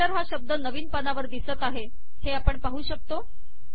chapter हा शब्द नवीन पानावर दिसत आहे हे आपण पाहू शकतो